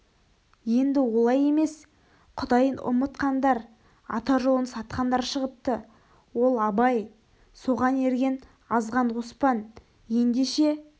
енді олай емес құдайын ұмытқандар ата жолын сатқандар шығыпты ол абай соған ерген азған оспан ендеше